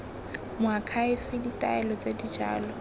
moakhaefe ditaelo tse di jalo